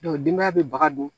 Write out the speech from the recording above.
denbaya bɛ baga don